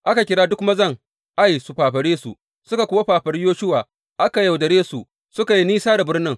Aka kira duk mazan Ai su fafare su, suka kuwa fafari Yoshuwa, aka yaudare su suka yi nisa da birnin.